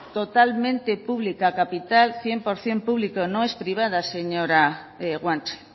totalmente pública capital cien por ciento público no es privada señora guanche